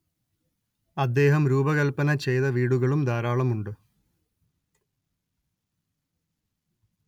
അദ്ദേഹം രൂപകല്പന ചെയ്ത വീടുകളും ധാരാളമുണ്ട്